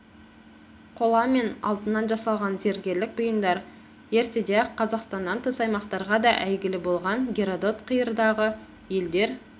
қола мен алтыннан жасалған зергерлік бұйымдар ертеде ақ қазақстаннан тыс аймақтарға да әйгілі болған геродот қиырдағы елдер